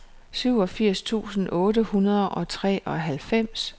syvogfirs tusind otte hundrede og treoghalvfems